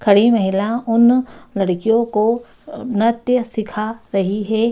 खड़ी महिला उन लड़कियों को नृत्य सीखा रही है।